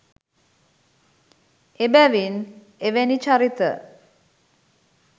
එබැවින් එවැනි චරිත